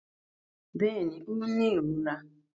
Bẹ́ẹ̀ni, ó ń ní ìrora